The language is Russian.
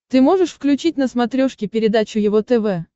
ты можешь включить на смотрешке передачу его тв